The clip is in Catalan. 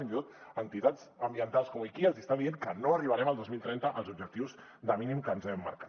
fins i tot entitats ambientals com oikia els hi està dient que no arribarem el dos mil trenta als objectius de mínims que ens hem marcat